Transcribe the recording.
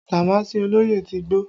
Damaasi olóyè ti gbó